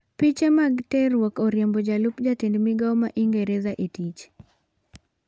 Piche mag terruok oriembo jalup jatend migao ma ingereza e tich